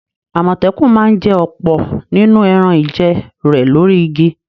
Àmọ̀tẹ́kùn ma ń jẹ ọ̀pọ̀ nínú ẹran-ìjẹ rẹ̀ lórí igi.